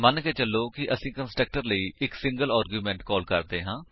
ਮੰਨੋ ਕਿ ਅਸੀ ਕੰਸਟਰਕਟਰ ਲਈ ਇਕ ਸਿੰਗਲ ਆਰਗਿਉਮੇਂਟ ਕਾਲ ਕਰਦੇ ਹਾਂ